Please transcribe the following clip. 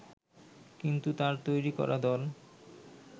কিন্তু তার তৈরি করা দল